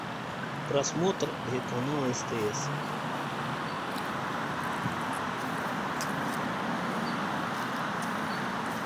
просмотр канала стс